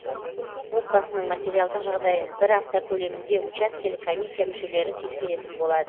отбасының материалдық жағдайын бір апта көлемінде учаскелік комиссия мүшелері тексеретін болады